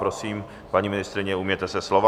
Prosím, paní ministryně, ujměte se slova.